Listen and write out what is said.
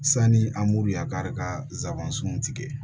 Sani an b'u ya kari ka zaaban sunw tigɛ